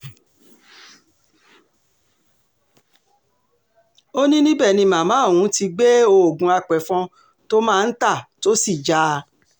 ó ní níbẹ̀ ni màmá òun ti gbé oògùn àpẹ̀fọn tó máa ń tà tó sì já a